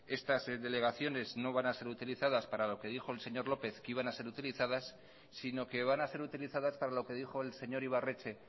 estas delegaciones no van a ser utilizadas para lo que dijo el señor lópez que iban a ser utilizadas sino que van a ser utilizadas para lo que dijo el señor ibarretxe